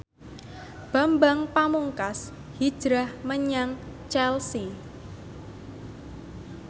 Bambang Pamungkas hijrah menyang Chelsea